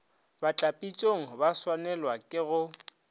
batlapitšong ba swanelwago ke go